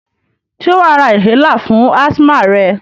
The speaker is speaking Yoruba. Sé wàá ra inhaler fún asthma rẹ?